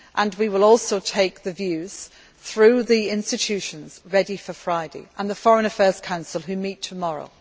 We will also take the views, through the institutions, ready for Friday and the Foreign Affairs Council which meets tomorrow.